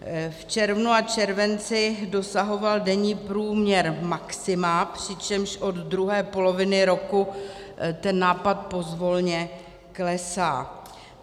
V červnu a červenci dosahoval denní průměr maxima, přičemž od druhé poloviny roku ten nápad pozvolna klesá.